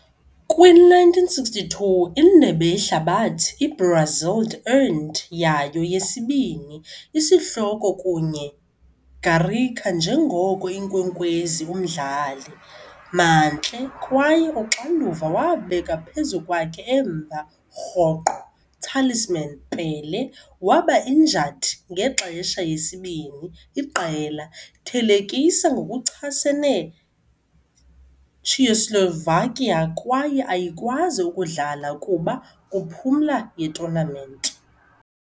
Kwi - 1962 Indebe Yehlabathi, i-Brazil earned yayo yesibini isihloko kunye Garrincha njengoko inkwenkwezi umdlali, mantle kwaye uxanduva wabeka phezu kwakhe emva rhoqo talisman, Pelé, waba injured ngexesha yesibini iqela thelekisa ngokuchasene Czechoslovakia kwaye ayikwazi ukudlala kuba kuphumla ye-tournament.